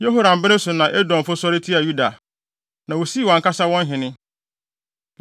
Yehoram bere so na Edomfo sɔre tiaa Yuda, na wosii wɔn ankasa wɔn hene.